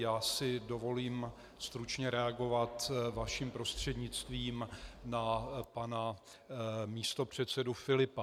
Já si dovolím stručně reagovat vaším prostřednictvím na pana místopředsedu Filipa.